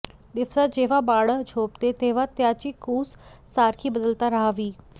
दिवसा जेव्हा बाळ झोपते तेव्हा त्याची कूस सारखी बदलता राहावी